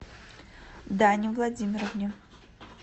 дане владимировне